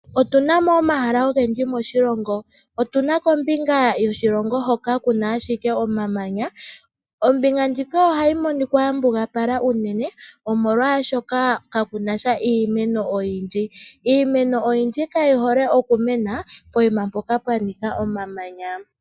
Otuna mo omahala ogendji moshilongo. Otuna kombinga yoshilongo hoka kuna ashike omamanya. Ombinga ndjika ohayi monikwa ya mbugala unene omolwashoka kakunasha iimeno oyindji. Iimeno oyindji kayi hole okumena pokuma mpoka pwa nika omamanya.